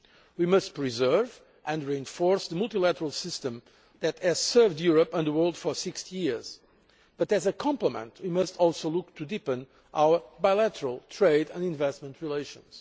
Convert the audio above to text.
We must preserve and reinforce the multilateral system that has served Europe and the world for 60 years but, as a complement to it, we must also look to deepen our bilateral trade and investment relations.